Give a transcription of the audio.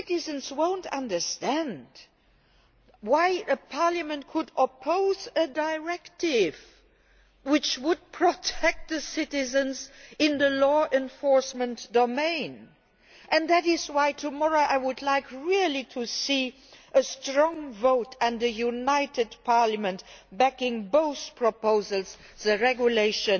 They will not understand how Parliament could oppose a directive which would protect citizens in the law enforcement domain, and that is why tomorrow I would really like to see a strong vote and a united Parliament backing both proposals the regulation